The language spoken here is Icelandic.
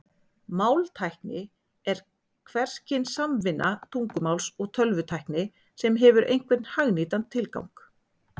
Máltækni er hvers kyns samvinna tungumáls og tölvutækni sem hefur einhvern hagnýtan tilgang.